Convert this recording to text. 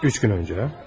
Üç gün öncə?